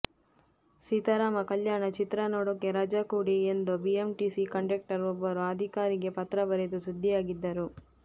ಸೀತಾರಾಮ ಕಲ್ಯಾಣ ಚಿತ್ರ ನೋಡೋಕೆ ರಜಾ ಕೊಡಿ ಎಂದು ಬಿಎಂಟಿಸಿ ಕಂಡಕ್ಟರ್ ಒಬ್ಬರು ಅಧಿಕಾರಿಗೆ ಪತ್ರ ಬರೆದು ಸುದ್ದಿಯಾಗಿದ್ದರು